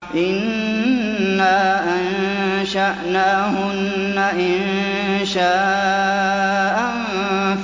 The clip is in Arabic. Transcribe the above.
إِنَّا أَنشَأْنَاهُنَّ إِنشَاءً